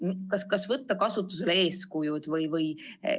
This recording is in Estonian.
Kas äkki võtta kasutusele eeskujud?